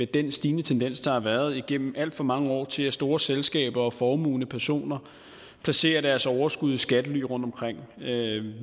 den stigende tendens der har været igennem alt for mange år til at store selskaber og formuende personer placerer deres overskud i skattely rundtomkring